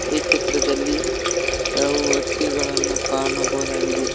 ಈ ಚಿತ್ರದಲ್ಲಿ ಕೆಲವು ವ್ಯಕ್ತಿಗಳನ್ನ ಕಾಣಬೋದಾಗಿದೆ.